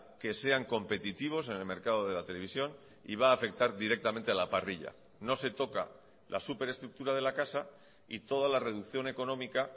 que sean competitivos en el mercado de la televisión y va a afectar directamente a la parrilla no se toca la superestructura de la casa y toda la reducción económica